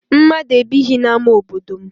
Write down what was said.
Mmadụ ebighị n'ama obodo m.